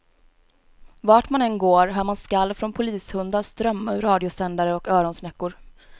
Vart man än går hör man skall från polishundar strömma ur radiosändare och öronsnäckor.